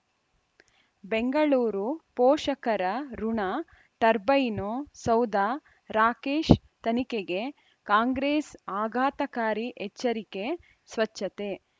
ಬೆಂಗಳೂರು ಪೋಷಕರಋಣ ಟರ್ಬೈನು ಸೌಧ ರಾಕೇಶ್ ತನಿಖೆಗೆ ಕಾಂಗ್ರೆಸ್ ಆಘಾತಕಾರಿ ಎಚ್ಚರಿಕೆ ಸ್ವಚ್ಛತೆ